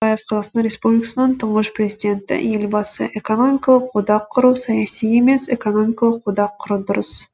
қазақстан республикасының тұңғыш президенті елбасы экономикалық одақ құру саяси емес экономикалық одақ құру дұрыс